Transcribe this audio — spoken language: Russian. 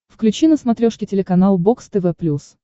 включи на смотрешке телеканал бокс тв плюс